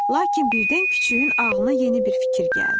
Lakin birdən küçüyün ağlına yeni bir fikir gəldi.